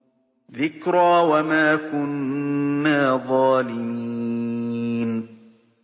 ذِكْرَىٰ وَمَا كُنَّا ظَالِمِينَ